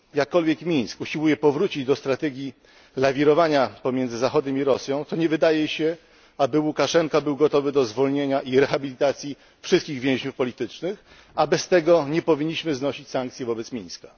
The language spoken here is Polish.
Jakkolwiek Mińsk usiłuje powrócić do strategii lawirowania pomiędzy Zachodem i Rosją, to nie wydaje się, aby Łukaszenka był gotowy do zwolnienia i rehabilitacji wszystkich więźniów politycznych, a bez tego nie powinniśmy znosić sankcji wobec Mińska.